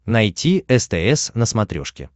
найти стс на смотрешке